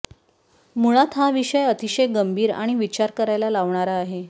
मुळात हा विषय अतिशय गंभीर आणि विचार करायला लावणारा आहे